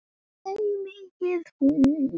Nei, ekki mikið núna.